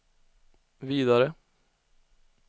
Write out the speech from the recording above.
vidare